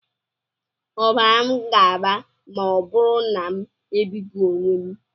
Ọbara m ga-agba ma ọ bụrụ na m ebipụ onwe m?